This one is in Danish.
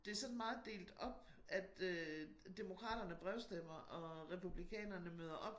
Det sådan meget delt op at øh demokraterne brevstemmer og republikanerne møder op